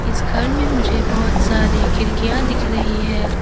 इस घर में मुझे बहोत सारी खिड़कियां दिख रही हैं।